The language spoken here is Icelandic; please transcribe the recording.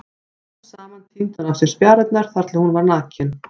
Smám saman tíndi hún af sér spjarirnar þar til hún var nakin.